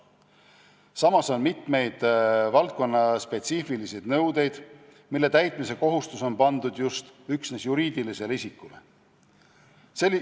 Samas on mitmeid valdkonnaspetsiifilisi nõudeid, mille täitmise kohustus on pandud üksnes juriidilisele isikule.